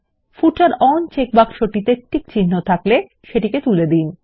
ফুটার on চেকবক্সটিতে টিকচিহ্ন থাকলে সেটিকে তুলে দিন